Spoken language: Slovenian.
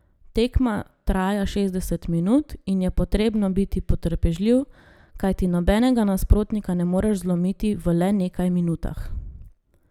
Tekma traja šestdeset minut in je potrebno biti potrpežljiv, kajti nobenega nasprotnika ne moreš zlomiti v le nekaj minutah.